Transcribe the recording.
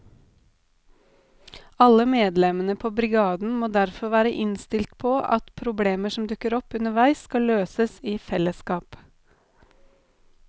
Alle medlemmene på brigaden må derfor være innstilt på at problemer som dukker opp underveis skal løses i fellesskap.